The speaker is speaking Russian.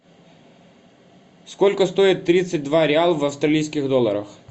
сколько стоит тридцать два реала в австралийских долларах